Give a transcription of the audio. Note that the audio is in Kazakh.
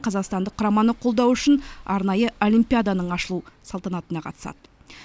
қазақстандық құраманы қолдау үшін арнайы олимпиаданың ашылу салтанатына қатысады